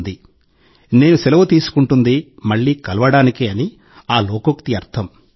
"మళ్ళీ కలవడానికి నేను సెలవు తీసుకుంటాను" అని ఆ లోకోక్తి అర్థం